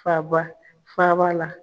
Faba, faa ba la.